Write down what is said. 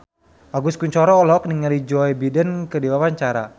Agus Kuncoro olohok ningali Joe Biden keur diwawancara